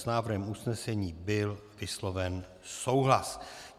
S návrhem usnesení byl vysloven souhlas.